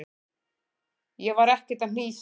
Ég var ekkert að hnýsast.